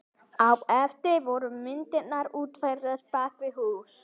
Á eftir voru myndirnar útfærðar bak við hús.